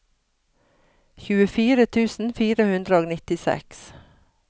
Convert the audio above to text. tjuefire tusen fire hundre og nittiseks